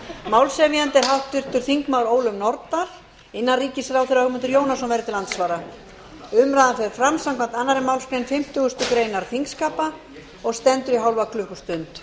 málshefjandi er háttvirtir þingmenn ólöf nordal innanríkisráðherra ögmundur jónasson verður til andsvara umræðan fer fram samkvæmt annarri málsgrein fimmtugustu grein þingskapa og stendur í hálfa klukkustund